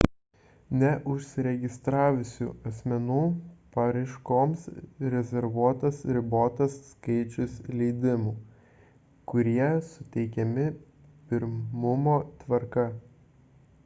neužsiregistravusių asmenų paraiškoms rezervuotas ribotas skaičius leidimų kurie suteikiami pirmumo tvarka